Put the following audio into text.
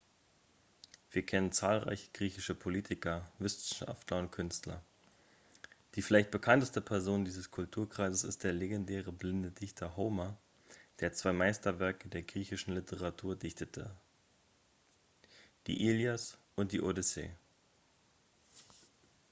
wir kennen zahlreiche griechischen politiker wissenschaftler und künstler die vielleicht bekannteste person dieses kulturkreises ist der legendäre blinde dichter homer der zwei meisterwerke der griechischen literatur dichtete die ilias und die odyssee